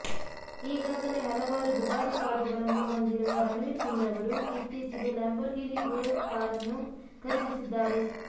ಈಗಾಗಲೇ ಹಲವಾರು ದುಬಾರಿ ಕಾರುಗಳನ್ನು ಹೊಂದಿರುವ ರಣವೀರ್ ಸಿಂಗ್ರವರು ಇತ್ತೀಚಿಗೆ ಲ್ಯಾಂಬೊರ್ಗಿನಿ ಉರುಸ್ ಕಾರ್ ಅನ್ನು ಖರೀದಿಸಿದ್ದಾರೆ